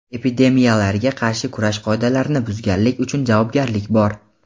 Epidemiyalarga qarshi kurash qoidalarni buzganlik uchun javobgarlik bor.